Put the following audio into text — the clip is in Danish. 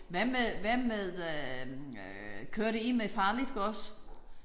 Hvad med hvad med øh kørte I med farligt gods?